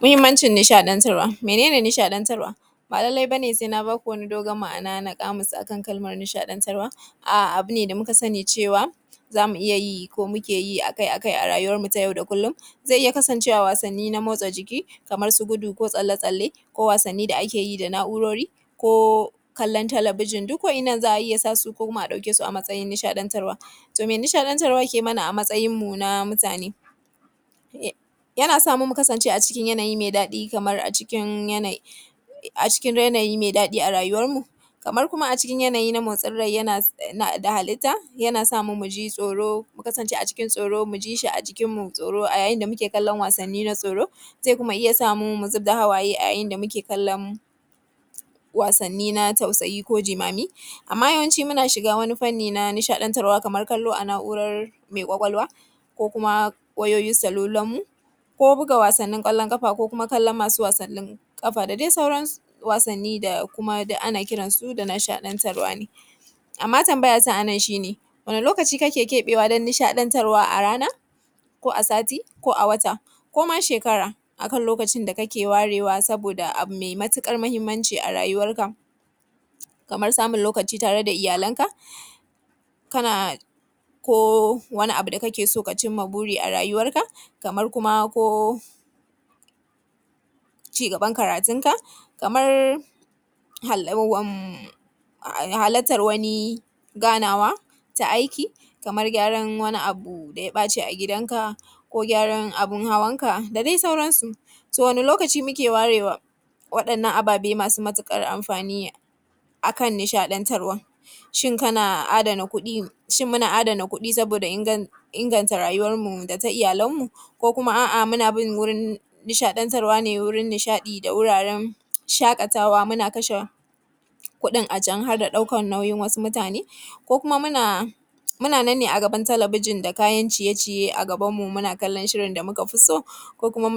Muhinmancin nishaɗantarwa, mene ne nishaɗantarwa? Ba lallai ba ne sai na ba ku dogon maana na ƙamus akan nishaɗantarwa. Abu ne da muka sani cewa za mu iya yi ko muke yi akai-akai a rayuwanmu na kullon, zai iya kasancewa wasanni na motsa jiki, kamar su gudo ko tsalle-tsalle ko wasanni da ake yi na na’urori ko kallon talabijin, duk wannan za a iya sa su ko kuma mu ɗauke su a matsayin nishaɗantarwa .To me nishaɗantarwa take mana a matsayinmu na mutane? Yana samu mu kasance a cikin yanayi me daɗi kaman a cikin yanayi me daɗi a rayuwanmu kamar kuma a cikin yanayi na motsin rai, yana na halitta yana samu mu ji tsoro mu kasance a cikin tsoro mu ji shi a jikinmu ko a yayin da muke kallon wasanni na tsoro. Sai kuma iya samu mu zubar da hawaye a yayin da muke kallon wasanni na tausayi, jimami, ma yawanci muna shiga wani fanni na nishaɗantarwa kamar kallo a na’ura ne kwakwalwa, ko kuma wayoyin salulanmu ko buga wasannin kwallon ƙafa ko masu wasannin ƙafa, da dai sauran. Wasanni da ana kiran su da nishaɗantarwa ne amma tanbayata a nan shi ne, wani lokaci ne kake keɓewa don nishaɗantarwa? A rana ko a sati ko a wata koma shekara akan lokacin da kake warewa saboda abu me matuƙar mahinmanci a rayuwanka. Kaman samun lokaci tare da iyalanka, ko wani abu da kake so ka cinma buri a rayuwanka, kamar kuma ko cigaban karatunka, kamar halattar wani ganawa na aiki, kaman gyaran wani abu da ya ɓaci a gidanka ko gyaran abun hawanka da dai sauransu. To wani lokaci muke warewa wa’yannan ababe masu matuƙar anfani akan nishaɗantarwa? Shin kana adana kuɗi, muna adanan kuɗi saboda inganta rayuwanmu da ta iyalanmu ko kuma a’a muna bin wurin nishaɗi da wuraren shaƙatawa mu kashe kuɗin a can har da ɗaukan nauyin wasu mutane ko kuma munanne a gaban talabijin ga kayan ciye-ciye a gabanmu muna gani da muka fi so, kuma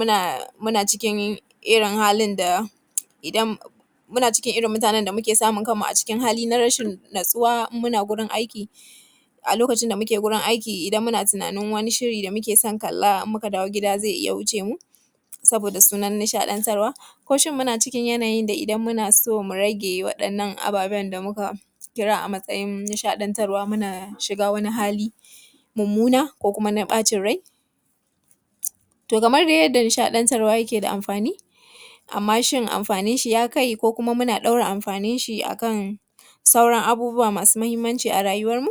cikin irin halin da muna cikin mutanen da muke samun kanmu a cikin halin rashin natsuwa, muna gurin aiki a lokacin da muke gurin aiki muna tunanin wani shiri da muke son kalla muna tunanin in muka dawo zai iya wuccemu, saboda sunnan nishadantarwa ko muna cikin yanayin da shin idan muna so mu rage wadannan ababen da muka kira a matsayin nishadantarwa wanda muke shigar wani hali mumumuna na bacin rai tor kamar dai yadda nishadantarwa yake da amfani, amma shin amfaninshi ya kai ko shin muna dora wasu abubuwa mafi muhimmaci arayuwarmu,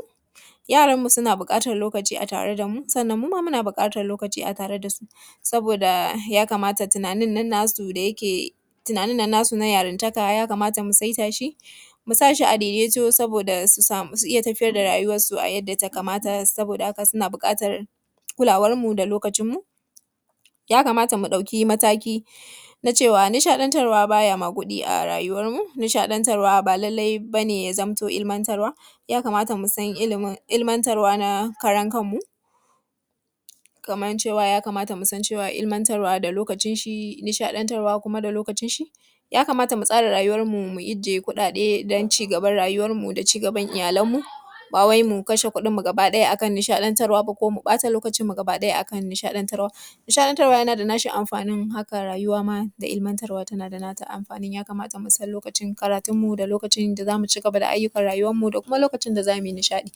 yaran mu suna bukatan lokaci a tare da mu, sannan muma muna bukatan lokaci a tare da su, saboda tunanin nan nasu na yarantaka ya kamata mu saita shi, mu sashi daidatu saboda su samu su tafiyar da rauwarsu yadda ya kamata saboda haka suna bukatan lokacinmu da tunaninmu. Ya kamata nishadantarwa baya magudi a rayuwarmu, nishadantarwa ba lallai ne illimantarwa ba. ya kamata musan illimantarwa na kanmu, musan lokacin illimantarwa da na nishadantarwa. ya kamata mu tsara rayuwarmu, musan kudaden ci gaban rayuwarmu da na iyalenmu ba mu bata kudadenmu da lokacin mu akan nishadantarwa kadai. Nishadantarwa tana da nata amfanin haka rayuwa ma da illimantarwa da nata amfaninin. ya kamata musan lokacin da zamuyi karatunmu da illimantarwan mu da kuma lokacin da zamu yi ayyukan rayuwarmu da kuma lokacin da zamu nishadi.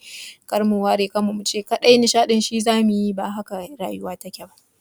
kada mu ware kanmu muce nishadin kadai zamuyi, ba haka rayuwa take ba.